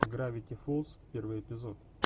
гравити фолс первый эпизод